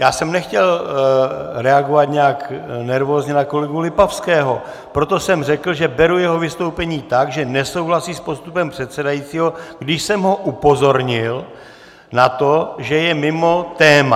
Já jsem nechtěl reagovat nějak nervózně na kolegu Lipavského, proto jsem řekl, že beru jeho vystoupení tak, že nesouhlasí s postupem předsedajícího, když jsem ho upozornil na to, že je mimo téma.